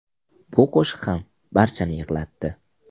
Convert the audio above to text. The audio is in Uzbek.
Bu qo‘shiq ham barchani yig‘latdi.